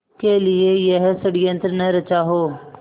के लिए यह षड़यंत्र न रचा हो